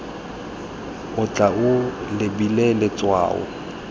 o tla o lebile letshwao